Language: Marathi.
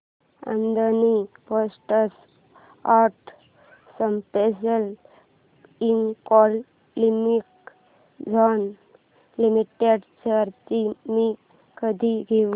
Adani ports and special economic zone limited shares मी कधी घेऊ